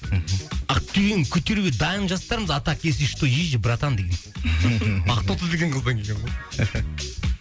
мхм ақ түйін көтеруге дайын жастармыз а так если что есть же братан деген ақтоты деген қыздан келген ғой